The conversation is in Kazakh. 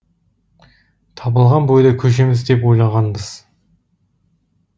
табылған бойда көшеміз деп ойлағанбыз